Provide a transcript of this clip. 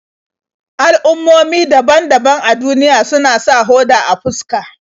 Al'ummomi daban-daban a duniya suna sa hoda a fuska.